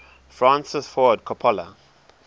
francis ford coppola